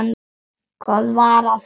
Hvað var að honum?